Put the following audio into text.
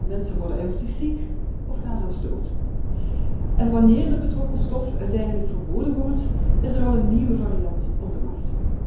Mensen worden ernstig ziek of gaan zelfs dood. En wanneer de betrokken stof uiteindelijk verboden wordt, is er al een nieuwe variant op de markt.